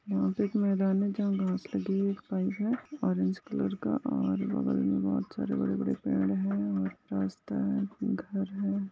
यहा पे एक मैदान है जहा घास लगी हुई हैऑरेंज कलर का और बगल में बहुत सारे बड़े बड़े पेड़ है और रास्ते है घर है।